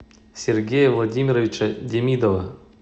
сергея владимировича демидова